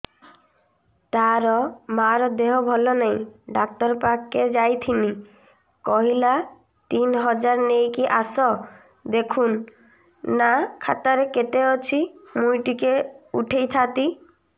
ତାର ମାର ଦେହେ ଭଲ ନାଇଁ ଡାକ୍ତର ପଖକେ ଯାଈଥିନି କହିଲା ତିନ ହଜାର ନେଇକି ଆସ ଦେଖୁନ ନା ଖାତାରେ କେତେ ଅଛି ମୁଇଁ ଟିକେ ଉଠେଇ ଥାଇତି